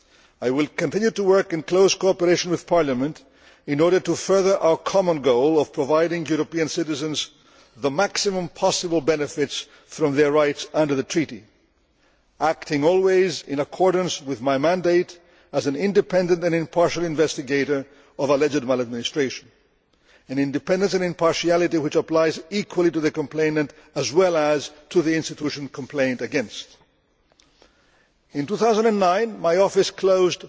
I will continue to work in close cooperation with Parliament in order to further our common goal of providing European citizens with the maximum possible benefits from their rights under the treaty, acting always in accordance with my mandate as an independent and impartial investigator of alleged maladministration an independence and impartiality which applies equally to the complainant as well as to the institution complained against. In 2009, my office closed